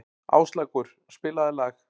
Áslákur, spilaðu lag.